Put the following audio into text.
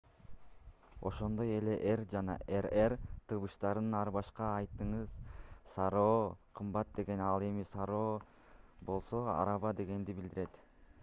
ошондой эле r жана rr тыбыштарын ар башка айтыңыз caro кымбат дегенди ал эми carro болсо араба дегенди билдирет